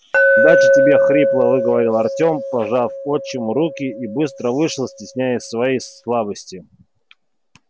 удачи тебе хрипло выговорил артем пожал отчиму руку и быстро вышел стесняясь своей слабости